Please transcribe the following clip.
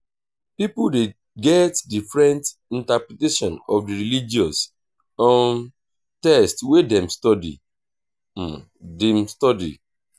pipo de get different interpretation of di religious um text wey dem study dem study